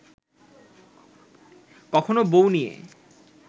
কখনও বউ নিয়ে